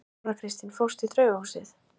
Þóra Kristín: Fórstu í draugahúsið?